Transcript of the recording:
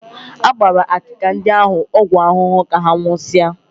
A gbara akịka ndị ahụ ọgwụ ahụhụ ka ha nwụsịsịa